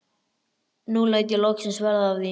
Nú læt ég loksins verða af því.